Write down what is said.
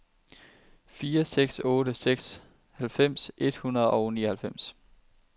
fire seks otte seks halvfems et hundrede og nioghalvfjerds